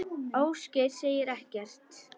Ásgeir segir ekkert.